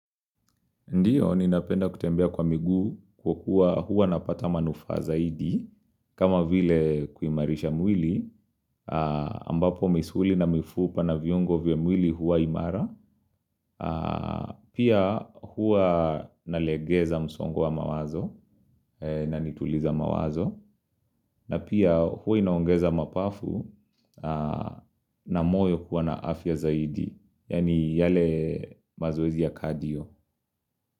Ndiyo, ninapenda kutembea kwa miguu kwa kuwa huwa napata manufaa zaidi, kama vile kuimarisha mwili, ambapo misuli na mifupa na viungo vya mwili huwa imara, pia huwa nalegeza msongo wa mawazo na nituliza mawazo, na pia huwa inaongeza mapafu na moyo kuwa na afya zaidi, yaani yale mazoezi ya kadio.